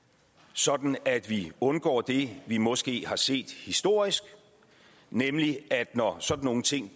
sådan at vi undgår det vi måske har set historisk nemlig at når sådan nogle ting